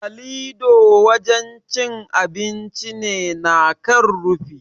Kalido wajen cin abinci ne na kan rufi.